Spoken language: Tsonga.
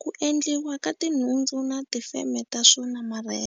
ku endliwa ka tinhundzu na tifeme ta swo namarheta.